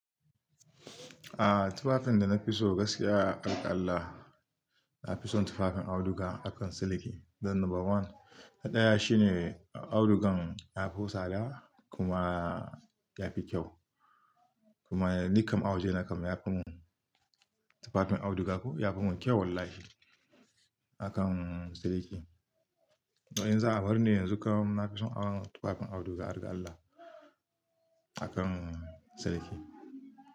Ah, tufafin da na fi so gaskiya a ƙaƙalla, na fi son tufafin auduga akan siliki. Don number one, na ɗaya shi ne audugan ya fi tsada kuma yafi kyau. Kuma ni kam awuje na kam yafi mun tufafin auduga ko yafi mun kyau wallahi akan siliki. To in za a bar ni yanzu kam nafi son awon tufafin auduga harga allah akan siliki.